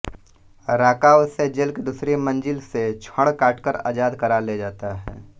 राका उसे जेल की दूसरी मंजिल से छड़ काटकर आजाद करा ले जाता है